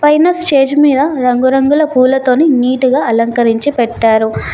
పైన స్టేజు మీద రంగురంగుల పూలతోని నీటుగా అలంకరించి పెట్టారు.